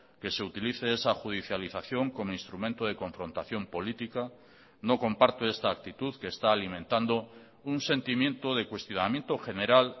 que se utilice esa judicialización como instrumento de confrontación política no comparto esta actitud que está alimentando un sentimiento de cuestionamiento general